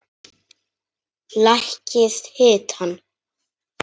Lækkið hitann.